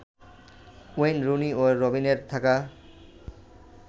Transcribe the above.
Wayne Rooney ও রবিনের থাকা